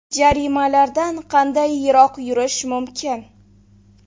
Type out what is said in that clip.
Jarimalardan qanday yiroq yurish mumkin?.